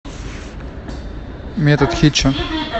метод хитча